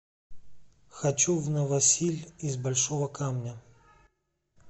хочу в новосиль из большого камня